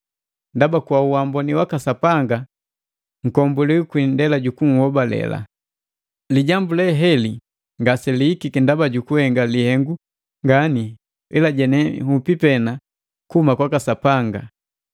Ndaba, kwa uamboni waka Sapanga nkombuliwi kwi indela ju kuhobaleka. Lijambu le heli ngaselihikiki ndaba ju kuhenga lihengu ngani ila je nhupi pena kuhuma kwaka Sapanga.